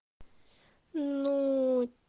ну